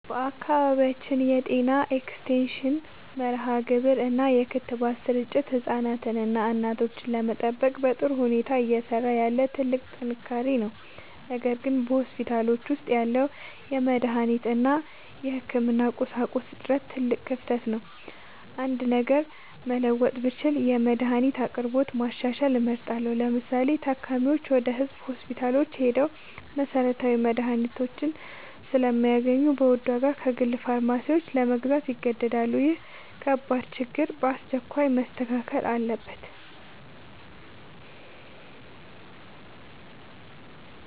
በአካባቢያችን የጤና ኤክስቴንሽን መርሃግብር እና የክትባት ስርጭት ህፃናትንና እናቶችን ለመጠበቅ በጥሩ ሁኔታ እየሰራ ያለ ትልቅ ጥንካሬ ነው። ነገር ግን በሆስፒታሎች ውስጥ ያለው የመድኃኒት እና የህክምና ቁሳቁስ እጥረት ትልቅ ክፍተት ነው። አንድ ነገር መለወጥ ብችል የመድኃኒት አቅርቦትን ማሻሻል እመርጣለሁ። ለምሳሌ፤ ታካሚዎች ወደ ህዝብ ሆስፒታሎች ሄደው መሰረታዊ መድኃኒቶችን ስለማያገኙ በውድ ዋጋ ከግል ፋርማሲዎች ለመግዛት ይገደዳሉ። ይህ ከባድ ችግር በአስቸኳይ መስተካከል አለበት።